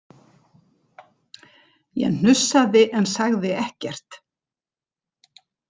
Ég hnussaði en sagði ekkert.